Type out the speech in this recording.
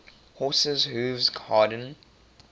horses hooves harden